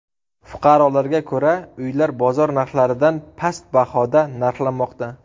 Fuqarolarga ko‘ra, uylar bozor narxlaridan past bahoda narxlanmoqda.